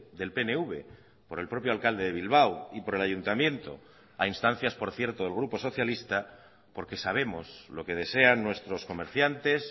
del pnv por el propio alcalde de bilbao y por el ayuntamiento a instancias por cierto del grupo socialista porque sabemos lo que desean nuestros comerciantes